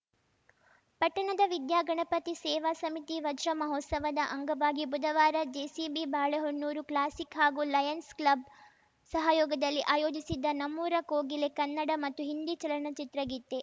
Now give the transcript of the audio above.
ಪಟ್ಟಣದ ವಿದ್ಯಾಗಣಪತಿ ಸೇವಾ ಸಮಿತಿ ವಜ್ರಮಹೋತ್ಸವದ ಅಂಗವಾಗಿ ಬುಧವಾರ ಜೇಸಿಬಿ ಬಾಳೆಹೊನ್ನೂರು ಕ್ಲಾಸಿಕ್‌ ಹಾಗೂ ಲಯನ್ಸ್‌ ಕ್ಲಬ್‌ ಸಹಯೋಗದಲ್ಲಿ ಆಯೋಜಿಸಿದ್ದ ನಮ್ಮೂರ ಕೋಗಿಲೆ ಕನ್ನಡ ಮತ್ತು ಹಿಂದಿ ಚಲನಚಿತ್ರಗೀತೆ